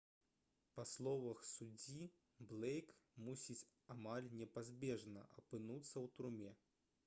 па словах суддзі блэйк мусіць «амаль непазбежна» апынуцца ў турме